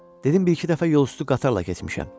Dedim bir-iki dəfə yol üstü qatarla keçmişəm.